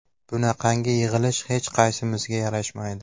Bunaqangi yig‘ilish hech qaysimizga yarashmaydi.